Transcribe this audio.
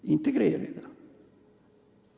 – integreerida.